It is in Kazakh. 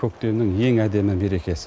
көктемнің ең әдемі мерекесі